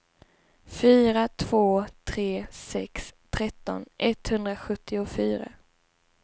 fyra två tre sex tretton etthundrasjuttiofyra